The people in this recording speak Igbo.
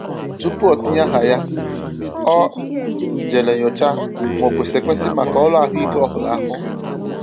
Tupu o tinye aha ya, ọ jèrè nyochaa ma ò kwesị ekwesi maka ọrụ ahụike ọhụrụ ahụ.